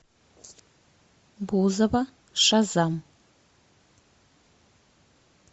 бузова шазам